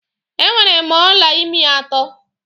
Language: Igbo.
E nwere m ọla ịmi atọ.